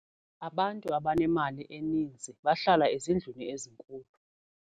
Abantu abanemali eninzi bahlala ezindlwini ezinkulu.